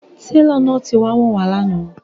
Tẹlọ náà ti wá wọn wà̀ lànà